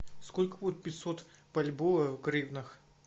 сколько будет пятьсот бальбоа в гривнах